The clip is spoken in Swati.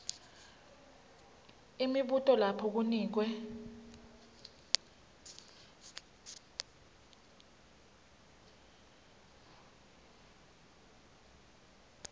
imibuto lapho kunikwe